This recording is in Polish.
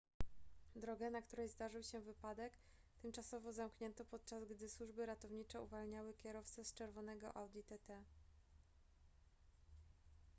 drogę na której zdarzył się wypadek tymczasowo zamknięto podczas gdy służby ratowniczye uwalniały kierowcę z czerwonego audi tt